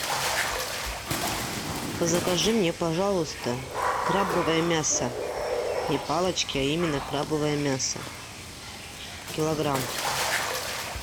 закажи мне пожалуйста крабовое мясо не палочки а именно крабовое мясо килограмм